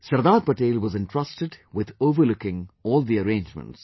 Sardar Patel was entrusted with overlooking all the arrangements